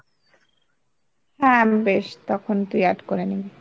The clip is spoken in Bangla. হ্যাঁ, বেশ, তখন তুই add করে নিবি।